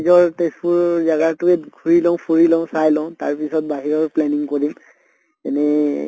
নিজৰ তেজপুৰ জাগাতোই ঘুৰি লওঁ ফুৰি লওঁ চাই লওঁ তাৰ পিছত বাহিৰত planning কৰিম এনে